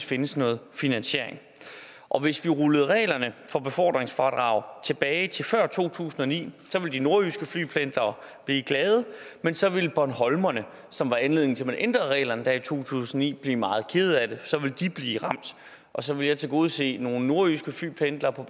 findes noget finansiering og hvis vi rullede reglerne for befordringsfradrag tilbage til før to tusind og ni ville de nordjyske flypendlere blive glade men så ville bornholmerne som var anledningen til at man ændrede reglerne i to tusind og ni blive meget kede af det for så ville de blive ramt og så ville jeg tilgodese nogle nordjyske flypendlere på